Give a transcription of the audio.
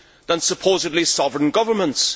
than supposedly solid governments.